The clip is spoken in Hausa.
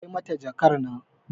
Kai mata jakar nan